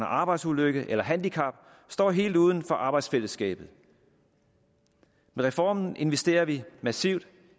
arbejdsulykke eller handicap står helt uden for arbejdsfællesskabet med reformen investerer vi massivt